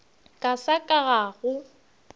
ka sa ka ga go